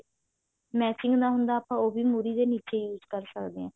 matching ਦਾ ਹੁੰਦਾ ਉਹ ਵੀ ਮੁਰ੍ਹੀ ਦੇ ਨੀਚੇ use ਕਰ ਸਕਦੇ ਹਾਂ